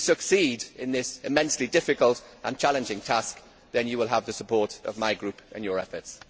If you succeed in this immensely difficult and challenging task, you will have the support of my Group in your efforts.